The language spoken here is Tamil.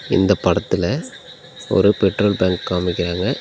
இந்தப் படத்துல ஒரு பெட்ரோல் பங்க் காமிக்கிறாங்க.